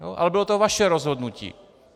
Ale bylo to vaše rozhodnutí.